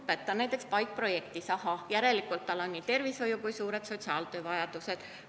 Kui keegi on näiteks PAIK-projektis, siis on näha, et ahah, järelikult on tal nii tervishoiu- kui ka sotsiaaltöövajadused.